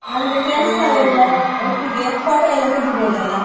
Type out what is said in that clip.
ನಮ್ದು friends ನವ್ರೆಲ್ಲ ಒಟ್ಟಿಗೆ photo ಎಲ್ಲ ತೆಗಿಬೋದಲ್ಲ.